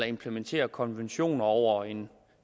implementerer konventioner over en